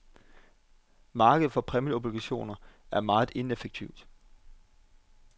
Markedet for præmieobligationer er meget ineffektivt.